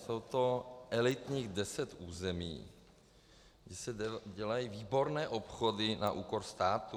Je to elitních deset území, kde se dělají výborné obchody na úkor státu.